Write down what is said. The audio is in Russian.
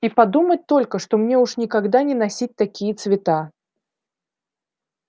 и подумать только что мне уж никогда не носить такие цвета